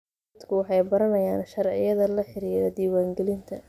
Dadku waxay baranayaan sharciyada la xiriira diiwaangelinta.